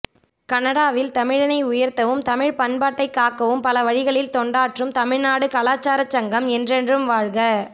கனடாவில் தமிழனை உயர்த்தவும் தமிழ்ப் பண்பாட்டைக் காக்கவும் பல வழிகளில் தொண்டாற்றும் தமிழ்நாடு கலாச்சாரச் சங்கம் என்றென்றும் வாழ்க